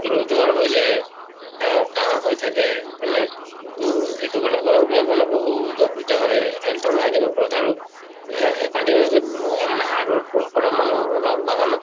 হেঁতৰো জ্বৰ হৈ যায়। আহ কাহ হৈ থাকে, হয় নে? তʼ এইটো কাৰণে গৰম দিনত মানে বহুত অসুবিধা হয়, health ৰ hygiene ৰ উপৰত আৰু আহ continuously অম hard work ক কৰা মানুহ ধৰা বাগানত